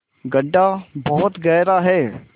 गढ्ढा बहुत गहरा है